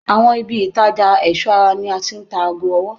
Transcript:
awon ibi itaja eso ara ni a ti n ta ago owo.